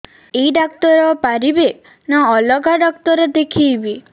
ଏଇ ଡ଼ାକ୍ତର ପାରିବେ ନା ଅଲଗା ଡ଼ାକ୍ତର ଦେଖେଇବି